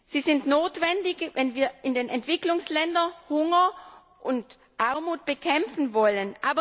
Sie sind notwendig, wenn wir in den Entwicklungsländern Hunger und Armut bekämpfen wollen.